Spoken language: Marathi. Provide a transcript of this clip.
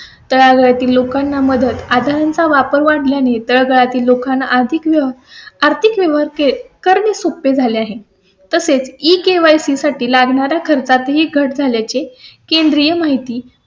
त्या घरातील लोकांना मदत आधार चा वापर वाढल्या ने तळा तील लोकांना आर्थिक व्यवहार, आर्थिक व्यवहार करणे सोपे झाले आहे. तसेच ई केवायसी KYC साठी लागणारा खर्चात ही घट झाल्या चे केंद्रीय माहिती.